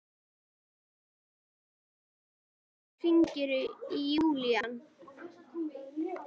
Hvannar, hringdu í Júlían.